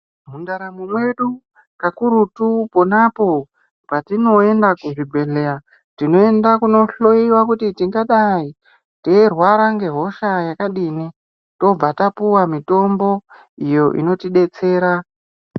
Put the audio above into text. Mu ntaramo medu kakurutu ponapo patinoenda ku zvi bhedhlera tinoenda kuno hloyiwa kuti tingadai teirwara nge hosha yakadi tobva tapiwa mitombo inoti betsera.